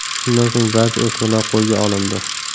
Shundan so‘ng barcha o‘smirlar qo‘lga olindi.